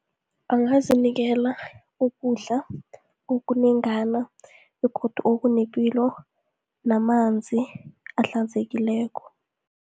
Angazinikela ukudla okunengana begodu okunepilo namanzi ahlanzekileko.